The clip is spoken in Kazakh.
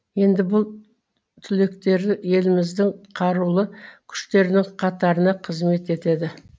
енді бұл түлектер еліміздің қарулы күштерінің қатарына қызмет етеді